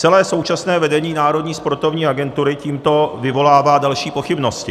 Celé současné vedení Národní sportovní agentury tímto vyvolává další pochybnosti.